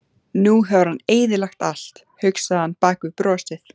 Nú hefur hann eyðilagt allt, hugsaði hann bak við brosið.